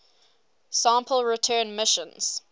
sample return missions